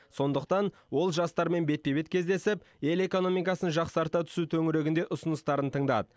сондықтан ол жастармен бетпе бет кездесіп ел экономикасын жақсарта түсу төңірегінде ұсыныстарын тыңдады